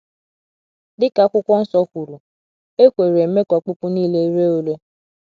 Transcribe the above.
Dị ka akwụkwo nsọ kwuru, ekworo eme ka ọkpụkpụ nile ree ụre